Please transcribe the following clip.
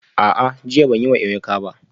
A'a, jiya ban yi wa Emeka ba